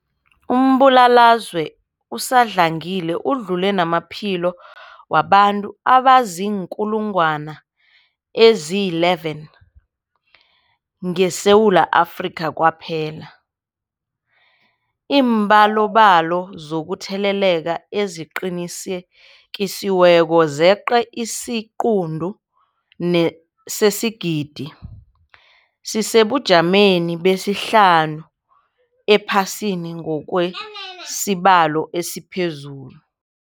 Umbulalazwe usadlangile udlule namaphilo wabantu abaziinkulungwana ezi-11 ngeSewula Afrika kwaphela. Iimbalobalo zokutheleleka eziqinisekisiweko zeqe isiquntu sesigidi, sisesebujameni besihlanu ephasini ngokwesibalo esiphezulu.